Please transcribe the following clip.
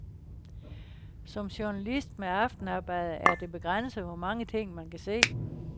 Som journalist med aftenarbejde er det begrænset, hvor mange ting, man kan se.